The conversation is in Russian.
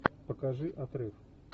покажи отрыв